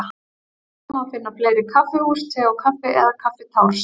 Hvort má finna fleiri kaffihús Te og Kaffi eða Kaffitárs?